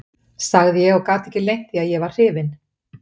sagði ég og gat ekki leynt því að ég var hrifinn.